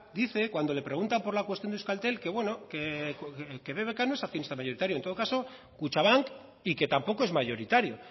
dice cuando le preguntan por la cuestión de euskaltel que bueno que bbk no es accionista mayoritario en todo caso kutxabank y que tampoco es mayoritario